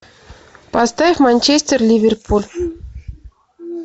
поставь манчестер ливерпуль